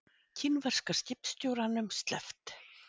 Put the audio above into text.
Kínverska skipstjóranum sleppt